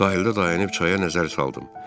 Sahildə dayanıb çaya nəzər saldım.